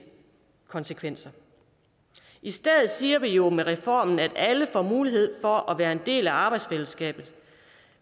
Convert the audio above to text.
konsekvenser i stedet siger vi jo med reformen at alle får mulighed for at være en del af arbejdsfællesskabet